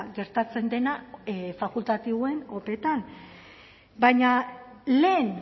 gertatzen dena fakultatiboen opeetan baina lehen